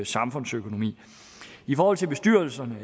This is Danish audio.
samfundsøkonomi i forhold til bestyrelserne